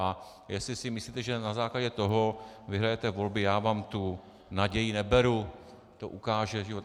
A jestli si myslíte, že na základě toho vyhrajete volby, já vám tu naději neberu, to ukáže život.